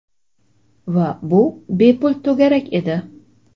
Va bu bepul to‘garak edi.